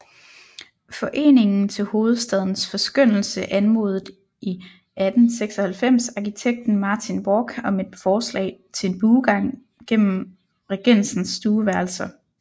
Foreningen til Hovedstadens Forskønnelse anmodede i 1896 arkitekten Martin Borch om et forslag til en buegang gennem Regensens stueværelser